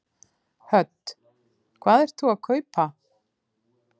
Hödd: Hvað ert þú að kaupa?